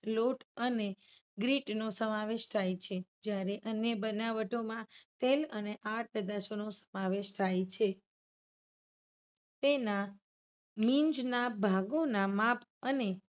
લોટ અને grit નો સમાવેશ થાય છે. જ્યાર અન્ય બનાવટોમાં તેલ અને આડ પેદાશોનો સમાવેશ થાય છે. તેના મિંજના ભાગોના માપ અને